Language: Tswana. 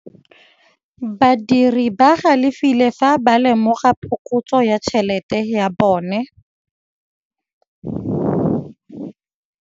Badiri ba galefile fa ba lemoga phokotsô ya tšhelête ya bone.